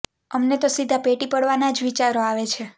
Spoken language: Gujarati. અમને તો સીધા ભેટી પડવાના જ વિચારો આવે છે